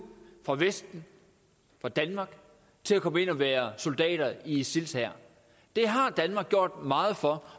fra vesten fra danmark til at komme ind og være soldater i isils hær det har danmark gjort meget for